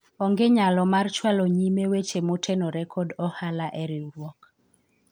onge nyalo mar chwalo nyime weche motenore kod ohala e riwruok